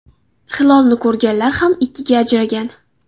Hilolni ko‘rganlar ham ikkiga ajragan.